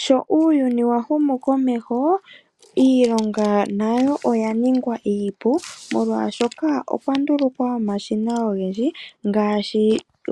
Sho uuyuni wa humukomeho, iilonga nayo oya nigwa iipu molwashoka okwa ndulukwa omashina ogendji ngaashi